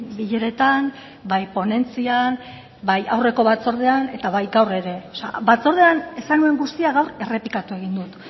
bileretan bai ponentzian bai aurreko batzordean eta baita gaur ere batzordean esan nuen guztia gaur errepikatu egin dut